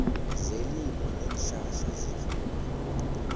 zelimo neenhlahla zefuyo